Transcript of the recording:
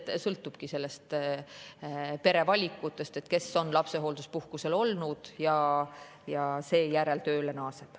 See sõltubki pere valikutest, kes on lapsehoolduspuhkusel olnud ja seejärel tööle naaseb.